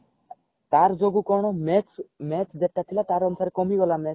ତାର ଯୋଗୁ କଣ match match ଯେତେ ଥିଲା ତାର ଅନୁସାରେ କମିଗଲା